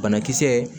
Banakisɛ